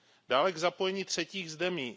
Dále k zapojení třetích zemí.